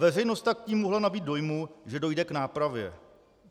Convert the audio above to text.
Veřejnost tak tím mohla nabýt dojmu, že dojde k nápravě.